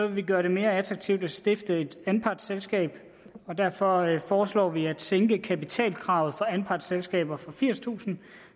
vi gøre det mere attraktivt at stifte et anpartsselskab derfor foreslår vi at sænke kapitalkravet for anpartsselskaber fra firstusind